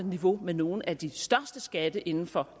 niveau med nogle af de største skatte inden for